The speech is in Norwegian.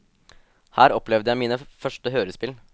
Her opplevde jeg mine første hørespill.